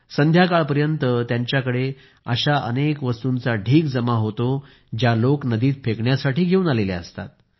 संध्याकाळ पर्यंत त्यांच्याकडे अशा गोष्टींचा ढीग जमा होतो ज्या लोक नदीत फेकायला घेऊन आलेले असतात